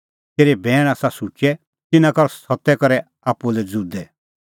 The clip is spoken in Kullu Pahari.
तेरै बैण आसा शुचै तिन्नां कर सत्ता करै आप्पू लै ज़ुदै